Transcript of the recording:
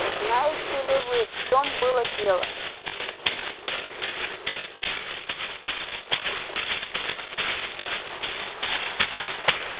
знаете ли вы в чём было дело